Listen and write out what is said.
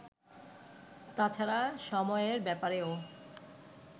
তাছাড়া সময়ের ব্যাপারেও